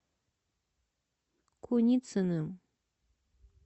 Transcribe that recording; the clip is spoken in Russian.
куницыным